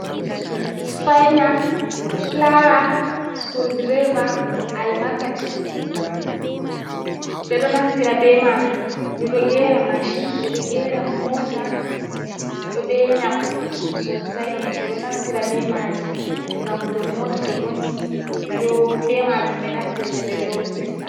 Sufina, fulaya, sukul direva, al makaci . Beɗo naftira be majum beɗo gera mashin be ɗo gera mota ɗo be nafu sosai be ɗo naftira be majin. Ngam to mota to vonni, be majum be naftirta be ɗo fista.